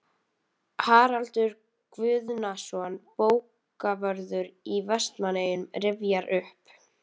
Haraldur Guðnason, bókavörður í Vestmannaeyjum, rifjar upp